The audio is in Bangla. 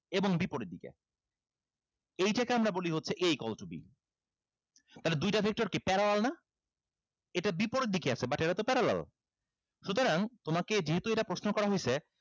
এবং বিপরীত দিকে এইটাকে আমরা বলি হচ্ছে a equal to b তাইলে দুইটা sector কি parallel না এটা বিপরীত দিকে আছে but এটাতো parallel সুতরাং তোমাকে যেহেতু এটা প্রশ্ন করা হইছে